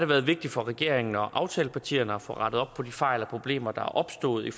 været vigtigt for regeringen og aftalepartierne at få rettet op på de fejl og problemer der er opstået i